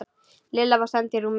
Lilla var send í rúmið.